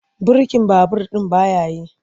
Birkin babur ɗin ba ya yi.